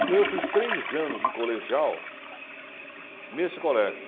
Então eu fiz três anos de colegial nesse colégio.